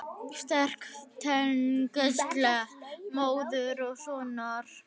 Sterk tengsl móður og sonar.